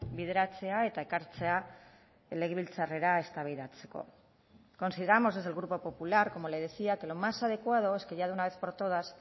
bideratzea eta ekartzea legebiltzarrera eztabaidatzeko consideramos desde el grupo popular como le decía que lo más adecuado es que ya de una vez por todas